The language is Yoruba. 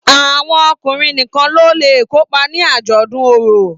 Àwọn ọkùnrin nìkàn ló lẹ kopa ní ajọdun orò.